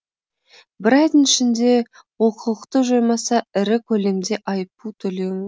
бір айдың ішінде олқылықты жоймаса ірі көлемде айыппұл төлеуі